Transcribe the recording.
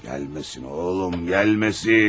Gəlməsin oğlum, gəlməsin.